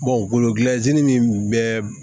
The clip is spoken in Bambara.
min bɛ